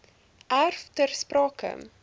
erf ter sprake